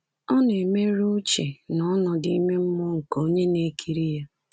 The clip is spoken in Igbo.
Ọ na-emerụ uche na ọnọdụ ime mmụọ nke onye na-ekiri ya.